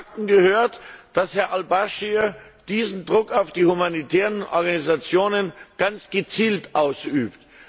Zu den Fakten gehört, dass Herr al Baschir diesen Druck auf die humanitären Organisationen ganz gezielt ausübt.